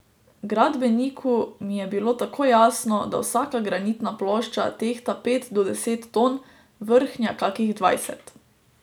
Gradbeniku mi je bilo takoj jasno, da vsaka granitna plošča tehta pet do deset ton, vrhnja kakih dvajset.